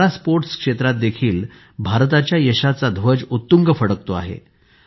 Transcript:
para sports क्षेत्रातही भारताच्या यशाचा ध्वज उत्तुंग फडकतो आहे